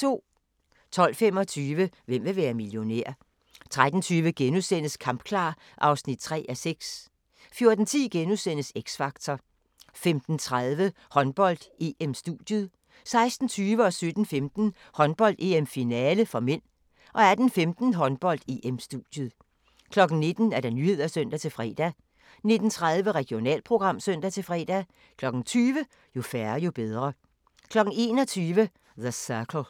12:25: Hvem vil være millionær? 13:20: Kampklar (3:6)* 14:10: X Factor * 15:30: Håndbold: EM-studiet 16:20: Håndbold: EM - finale (m) 17:15: Håndbold: EM - finale (m) 18:15: Håndbold: EM - studiet 19:00: Nyhederne (søn-fre) 19:30: Regionalprogram (søn-fre) 20:00: Jo færre, jo bedre